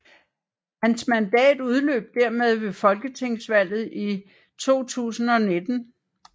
Hans mandat udløb dermed ved Folketingsvalget 2019